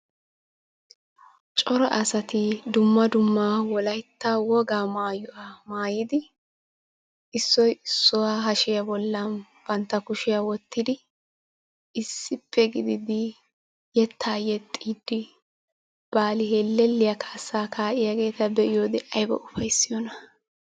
Cora asati dumma dumma wolaytta wogaa maayuwa maayidi issoyi issuwa hashiya bollan bantta kushiya wottidi issippe gididi yettaa yexxiiddi baali hellelliya kaassaa kaa"iyageeta be"iyoode ayiba ufayssiyona.